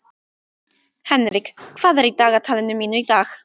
Henrik, hvað er í dagatalinu mínu í dag?